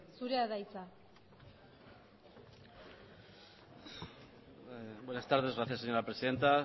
zurea da hitza buenas tardes gracias señora presidenta